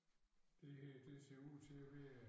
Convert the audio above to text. Det her det ser ud til at være